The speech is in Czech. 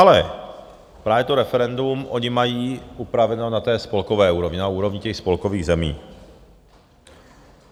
Ale právě to referendum oni mají upraveno na té spolkové úrovni, na úrovni těch spolkových zemí.